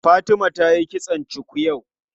Fatima tayi kitson cuku yau.